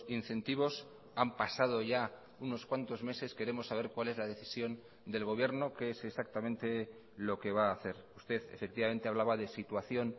incentivos han pasado ya unos cuantos meses queremos saber cuál es la decisión del gobierno qué es exactamente lo que va a hacer usted efectivamente hablaba de situación